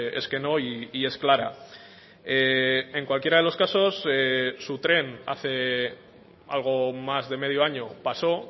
es que no y es clara en cualquiera de los casos su tren hace algo más de medio año pasó